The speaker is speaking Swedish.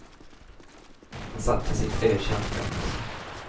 Han sattes i ett ökänt fängelse.